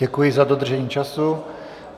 Děkuji za dodržení času.